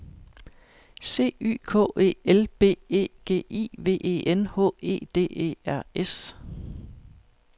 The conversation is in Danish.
C Y K E L B E G I V E N H E D E R S